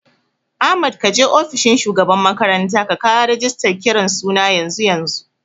Ahmad kaje ofishin shugaban makaranta ka kawo rigistan kiran suna yanzu yanzu